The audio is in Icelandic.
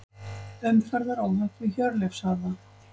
Umferðaróhapp við Hjörleifshöfða